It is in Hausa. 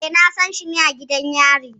Eh, Nasan shi ne a gidan yari